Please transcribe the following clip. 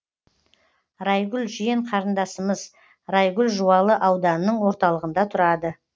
райгүл жиен қарындасымыз райгүл жуалы ауданының орталығында тұрады